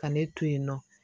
Ka ne to yen nɔ